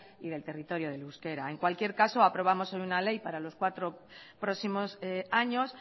y del territorio del euskera en cualquier caso aprobamos hoy una ley para los cuatro próximos años